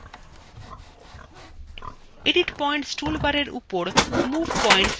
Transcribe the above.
edit points toolbarএর উপর move points click করুন